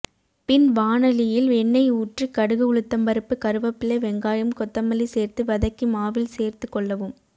பின் வாணலியில் எண்ணெய் ஊற்றி கடுகு உளுத்தம் பருப்பு கருவபில்லை வெங்காயம் கொத்தமல்லி சேர்த்து வதக்கி மாவில் சேர்த்து கொள்ளவும்